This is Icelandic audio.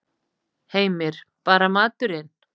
Heimir: Bara maturinn?